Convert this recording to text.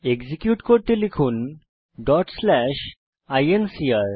execute করতে লিখুন INCR